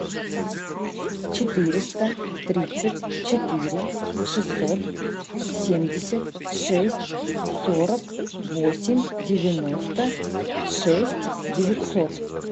четыреста тридцать четыре шестьсот семьдесят шесть сорок восемь девяносто шесть девятьсот